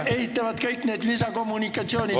... ehitavad kõik need lisakommunikatsioonid ...